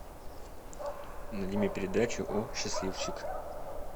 найди мне передачу о счастливчик